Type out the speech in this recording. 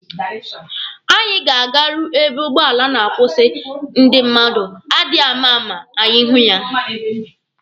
Anyị ga-agaru ebe ụgbọala na-akwụsị ndị mmadụ, adiamama anyị hụ ya.